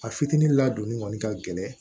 A fitini ladonni kɔni ka gɛlɛn